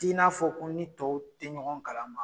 T'i n'a fɔ ko n ni tɔw te ɲɔgɔn kala ma